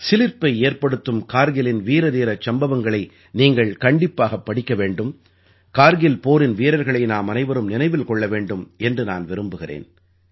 சிலிர்ப்பை ஏற்படுத்தும் கார்கிலின் வீரதீரச் சம்பவங்களை நீங்கள் கண்டிப்பாகப் படிக்க வேண்டும் கார்கில் போரின் வீரர்களை நாமனைவரும் நினைவில் கொள்ள வேண்டும் என்று நான் விரும்புகிறேன்